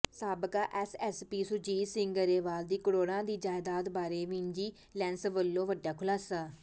ਸਾਬਕਾ ਐਸਐਸਪੀ ਸੁਰਜੀਤ ਸਿੰਘ ਗਰੇਵਾਲ ਦੀ ਕਰੋੜਾਂ ਦੀ ਜਾਇਦਾਦ ਬਾਰੇ ਵਿਜੀਲੈਂਸ ਵੱਲੋਂ ਵੱਡਾ ਖੁਲਾਸਾ